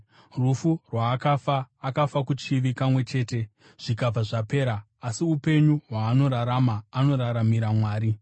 Rufu rwaakafa, akafa kuchivi kamwe chete zvikabva zvapera; asi upenyu hwaanorarama, anoraramira Mwari.